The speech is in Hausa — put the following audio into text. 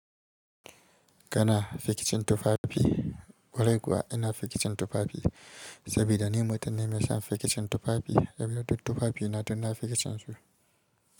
Kana fikicin tufafi, kwarai kuwa ina fikicin tufafi? Sabida ni mutum ne mai son fikicin tufafi, sabida duk tufafi na duk na fiya son su.